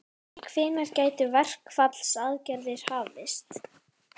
Hvenær gætu verkfallsaðgerðir hafist?